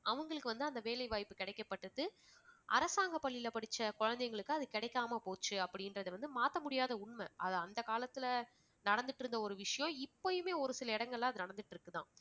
அவங்களுக்கு வந்து அந்த வேலை வாய்ப்பு கிடைக்கப்பட்டது அரசாங்க பள்ளியில் படிச்ச குழந்தைகளுக்கு அது கிடைக்காம போச்சு அப்படி என்றத வந்து மாத்த முடியாத உண்மை. அது அந்த காலத்தில நடந்திட்டுருந்த ஒரு விஷயம் இப்பயுமே ஒரு சில இடங்கள்ல அது நடந்துட்டு இருக்கு தான்.